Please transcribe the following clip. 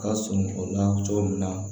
Ka sun o la cogo min na